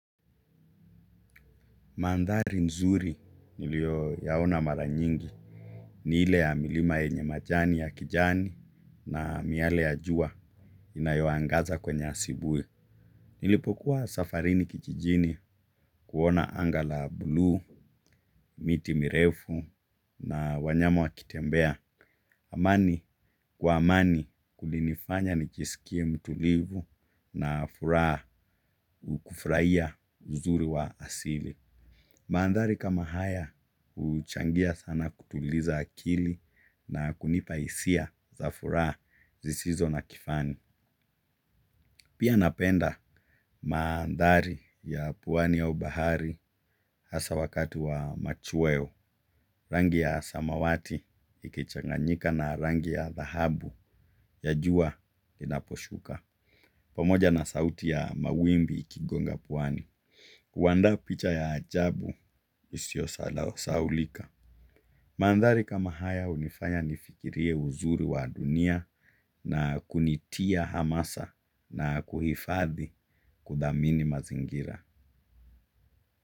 Mandari mzuri nilio yaona mara nyingi. Ni ile ya milima enye majani ya kijani na miale ya jua inayoangaza kwenye asibui. Nilipokuwa safarini kijijini kuona anga la buluu miti mirefu na wanyama wakitembea. Amani kwa amani kulinifanya nijisikie mtulivu na furaa ukufraia uzuri wa asili. Maandari kama haya uchangia sana kutuliza akili na kunipaisia za furaa zisizo na kifani. Pia napenda maandari ya puwani au bahari hasa wakatu wa machuweo. Rangi ya samawati ikichanganyika na rangi ya dahabu ya juwa inaposhuka. Pamoja na sauti ya mawimbi ikigonga puwani. Kuwanda picha ya ajabu usio salao saulika. Mandari kama haya unifanya nifikirie uzuri wa dunia na kunitia hamasa na kuhifadhi kudamini mazingira.